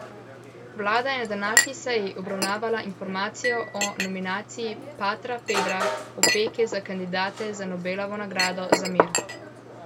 Vlada je na današnji seji obravnavala informacijo o nominaciji patra Pedra Opeke za kandidata za Nobelovo nagrado za mir.